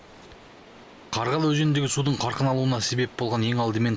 қарғалы өзеніндегі судың қарқын алуына себеп болған ең алдымен